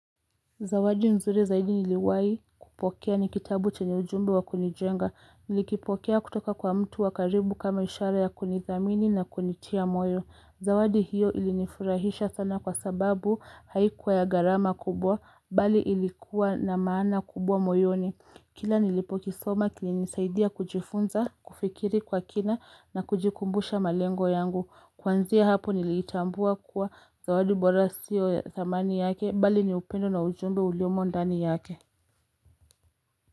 Zawadi mzuri zaidi niliwahi kupokea ni kitabu chenye ujumbe wa kunijenga. Nilikipokea kutoka kwa mtu wa karibu kama ishara ya kunidhamini na kunitia moyo. Zawadi hiyo ilinifurahisha sana kwa sababu haikuwa ya gharama kubwa bali ilikuwa na maana kubwa moyoni. Kila nilipokisoma kilinisaidia kujifunza, kufikiri kwa kina na kujikumbusha malengo yangu. Kuanzia hapo niliitambua kuwa zawadi bora sio dhamani yake bali ni upendo na ujumbe uliomo ndani yake.